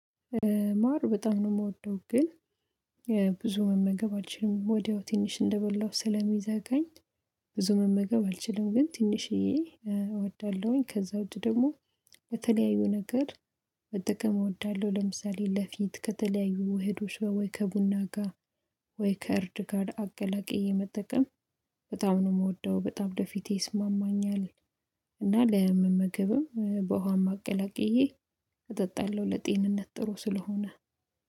ማር በጣም ነው የምወደው ግን ብዙ መመገብ አልችልም ወዲያው ትንሽ እንደበላው ስለሚዘጋኝ። ብዙ መመገብ አልችልም ግን ትንሽዬ እወዳለሁኝ ከዛ ውጭ ደግሞ የተለያዩ ነገር መጠቀም እወዳለሁ። ለምሳሌ ለፊት ከተለያዩ ውህዶች ወይ ከቡና ጋር። ከእርድ ጋር አቀላቅዬ የመጠቀም በጣም ነው የምወደው በጣም ለፊቴ ይስማማኛል። እና ለመመገብም በውሃም አቅላቅዬ እጠጣለሁ ለጤንነት ጥሩ ስለሆነ